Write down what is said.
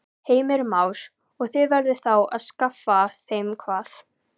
Heimir Már: Og þið eruð þá að skaffa þeim hvað?